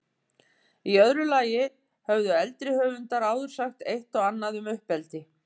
Í öðru lagi höfðu eldri höfundar áður sagt eitt og annað um uppeldi.